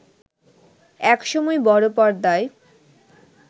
এক সময় বড় পর্দায়